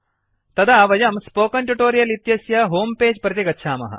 तदा वयं spoken tutorial इत्यस्य होम् पेज् प्रति गच्छामः